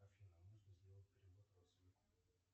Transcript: афина нужно сделать перевод родственнику